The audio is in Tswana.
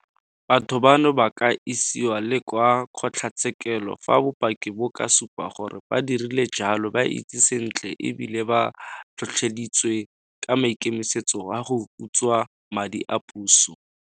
Batho bano ba ka isiwa le kwa kgotlatshekelo fa bopaki bo ka supa gore ba dirile jalo ba itsi sentle e bile ba tlhotlheleditswe ke maikemisetso a go utswa madi a puso.